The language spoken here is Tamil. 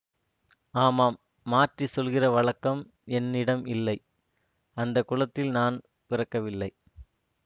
ஆமாம் மாற்றிச் சொல்லுகிற வழக்கம் என்னிடம் இல்லை அந்த குலத்தில் நான் பிறக்கவில்லை